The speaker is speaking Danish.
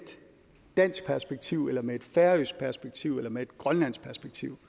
dansk perspektiv eller med et færøsk perspektiv eller med et grønlandsk perspektiv